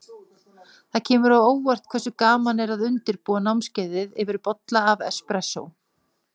Það kemur á óvart hversu gaman er að undirbúa námskeiðið yfir bolla af espressó.